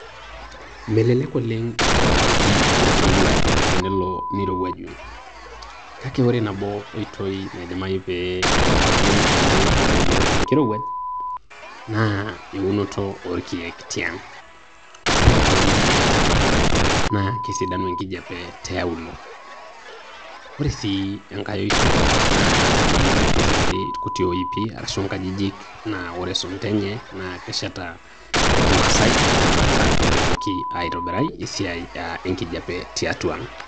Melelek oleng' itadoyiori enkirowuaj tenelo nirowuaju. Kake ore nabo oitoi naidimayu pe itumiyai peyie edoyio enkirowuaj, na eunoto orkeek tiang'. Ore ake pe euni irkeek, na kesidanu enkijape tiauluo. Ore si enkae oitoi, naa peyie itobiri irkuti oipi, arashu inkajijik na ore isunta enye, na keshata te kimaasai amu nakata etumoki aitobirai esiai enkijape tiatua ang'.